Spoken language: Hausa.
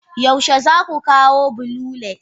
Yaushe za ku kawo blue lace?